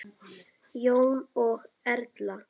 Jón og Erla.